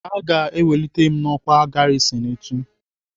Aga ewelite m n'ọkwá garisin echi.